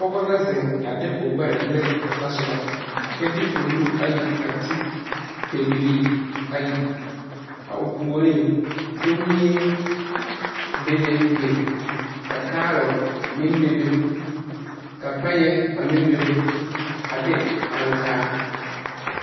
Pɔge la zeŋ a de o gbɛre liri o tɔ soba kyɛ de o nu te ne pɛbilii ayi, a o puoriŋ, komie be be beŋ, ka carrot meŋ be be ka payɛ a meŋ bebe a de ankaa.